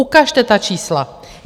Ukažte ta čísla.